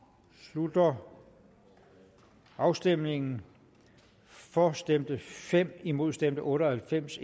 slutter afstemningen for stemte fem imod stemte otte og halvfems